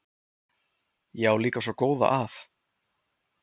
Ég á líka svo góða að.